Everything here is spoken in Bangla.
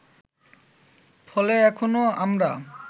ফলে এখনও আমরা